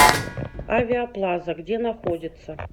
авиа плаза где находится